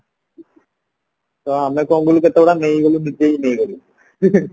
ଆଟ ଆମେ କଣ କଲୁ କେତେ ଗୁଡା ନିଜେ ହିଁ ନେଇଗଲୁ